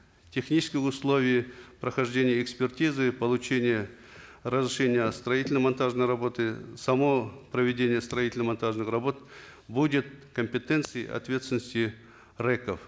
технических условий прохождения экспертизы получения разрешения о строительно монтажной работе само проведение строительно монтажных работ будет в компетенции ответственности рэк ов